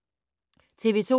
TV 2